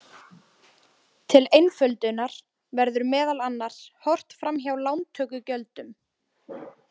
Til einföldunar verður meðal annars horft fram hjá lántökugjöldum.